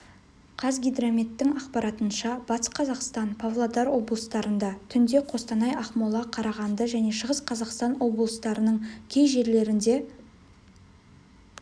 қазгидрометтің ақпаратынша батыс қазақстан павлодар облыстарында түнде қостанай ақмола қарағанды және шығыс қазақстан облыстарының кей жерлерінде